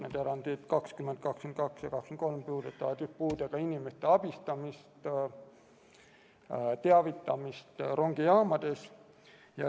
Need erandid – 20, 22 ja 23 – puudutavad puudega inimeste abistamist ja teavitamist rongijaamades.